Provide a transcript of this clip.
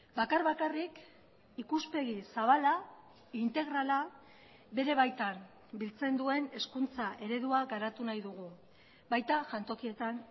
bakar bakarrik ikuspegi zabala integrala bere baitan biltzen duen hezkuntza eredua garatu nahi dugu baita jantokietan